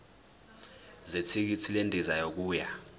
zethikithi lendiza yokuya